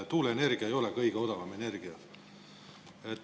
Tuuleenergia ei ole kõige odavam energia.